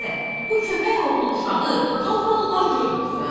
Adə, bu köpək oğlu uşağı hambalları görmürsən?